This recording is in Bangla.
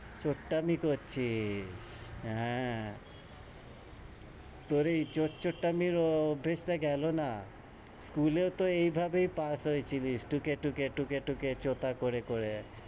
চুট্টামি করছিস? হ্যাঁ। তোর এই চোর -চুট্টামির অভ্যেসটা গেলো না। স্কুলেও তহ এইভাবেই pass হয়েছিলিস। টুকে-টুকে টুকে-টুকে চোতা করে করে।